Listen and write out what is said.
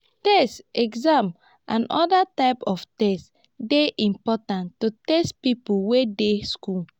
tests exam and oda types of test dey important to test pipo wey dey school